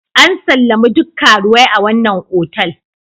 An sallami duk karuwai a wannan otal.